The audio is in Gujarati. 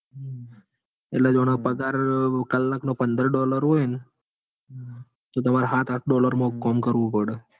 એનો પગાર કલ્લાક નો પગાર પંદર ડોલર હોય ન? તો તામર સાત સાત ડોલર માં કામ કરવું પડ.